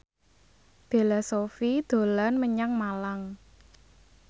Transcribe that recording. Bella Shofie dolan menyang Malang